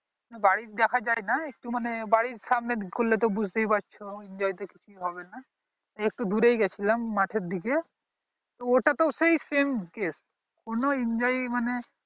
বাড়ি দেখা যায় না একটু মানে বাড়ির সামনে করলে বুঝতে ই পারছো enjoy তো কিছু হবে না একটু দূরে গিয়েছিলাম মাঠের দিকে ওটা তেও সেই same case কোনো enjoy মানে